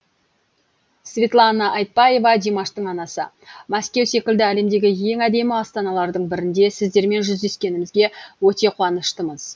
светлана айтбаева димаштың анасы мәскеу секілді әлемдегі ең әдемі астаналардың бірінде сіздермен жүздескенімізге өте қуаныштымыз